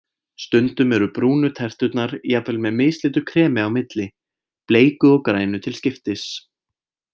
Stundum eru brúnu terturnar jafnvel með mislitu kremi á milli, bleiku og grænu til skiptis.